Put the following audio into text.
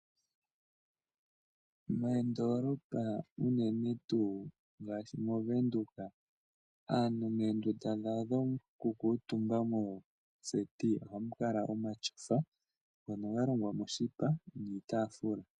Moondoolopa unene tuu ngaashi mOvenduka, aantu moondunda dhawo dhokukuutumba mooseti ohamu kala omatyofa ngono ga longwa moshipa nuutaafula.